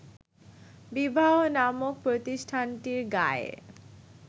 বিবাহ নামক প্রতিষ্ঠানটির গায়ে